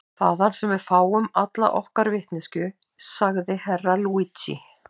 Þaðan sem við fáum alla okkar vitneskju, sagði Herra Luigi.